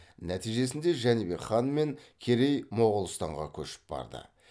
нәтижесінде жәнібек хан мен керей моғолстанға көшіп барды